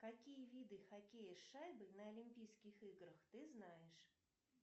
какие виды хоккея с шайбой на олимпийских играх ты знаешь